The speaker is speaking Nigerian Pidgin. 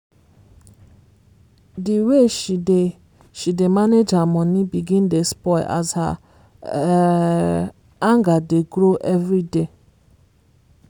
the way she dey she dey manage her money begin dey spoil as her um anger dey grow everyday.